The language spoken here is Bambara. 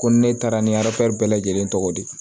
Ko ni ne taara ni bɛɛ lajɛlen tɔgɔ di